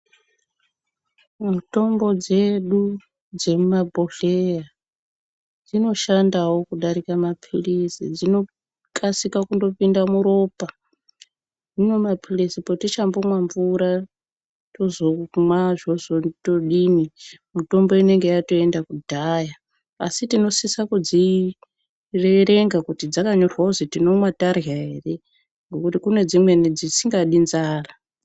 Mitombo dzedu dzemumabhodleya dzinoshandawo kudarika mapirisi, dzinokasika kupinda muropa zvino mapirisi patichambonwa mvura tozonwa zvotozodini mitombo inenge yatoenda kudhaya asi tinosisa kudziverenga kuti dzakanyorwa kuzitinonwa tadya here ngokuti kunedzimweni dzisingade nzara.